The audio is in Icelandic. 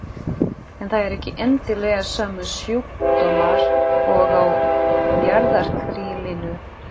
En það eru ekki endilega sömu sjúkdómar og á jarðarkrílinu.